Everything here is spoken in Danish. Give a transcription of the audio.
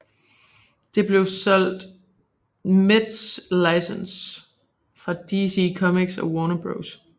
Det blev solgt meds licens fra DC Comics og Warner Bros